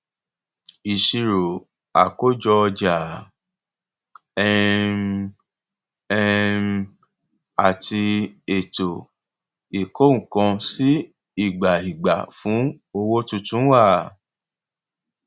ìṣirò àkójọ ọjà um um àti ètò ìkónǹkansíìgbàìgbà fún owó tuntun wà